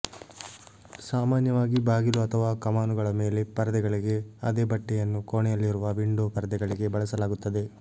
ಸಾಮಾನ್ಯವಾಗಿ ಬಾಗಿಲು ಅಥವಾ ಕಮಾನುಗಳ ಮೇಲೆ ಪರದೆಗಳಿಗೆ ಅದೇ ಬಟ್ಟೆಯನ್ನು ಕೋಣೆಯಲ್ಲಿರುವ ವಿಂಡೋ ಪರದೆಗಳಿಗೆ ಬಳಸಲಾಗುತ್ತದೆ